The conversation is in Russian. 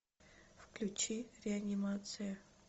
включи реанимацию